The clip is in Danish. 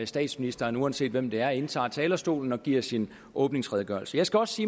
statsministeren uanset hvem det er indtager talerstolen og giver sin åbningsredegørelse jeg skal også